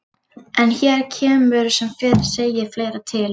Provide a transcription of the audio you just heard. En hér kemur sem fyrr segir fleira til.